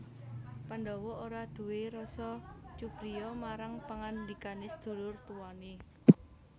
Pandhawa ora nduwé rasa cubriya marang pangandikane sedulur tuwane